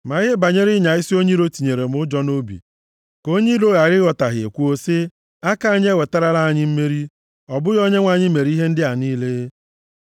Ma ihe banyere ịnya isi onye iro tinyere m ụjọ nʼobi, ka onye iro ghara ịghọtahie kwuo sị, ‘Aka anyị ewetarala anyị mmeri, ọ bụghị Onyenwe anyị mere ihe ndị a niile.’ ”